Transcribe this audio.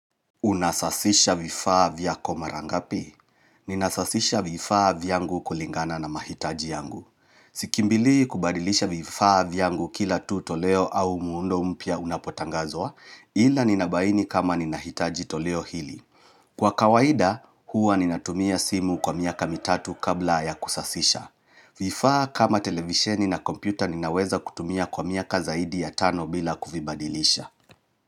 Unasasisha vifaa vyako marangapi? Ninasasisha vifaa vyangu kulingana na mahitaji yangu. Sikimbilii kubadilisha vifaa vyangu kila tuto leo au muundo mpya unapotangazwa, ila ninabaini kama ninahitaji toleo hili. Kwa kawaida, huwa ninatumia simu kwa miaka mitatu kabla ya kusasisha. Vifaa kama televisheni na kompyuta ninaweza kutumia kwa miaka zaidi ya tano bila kuvibadilisha.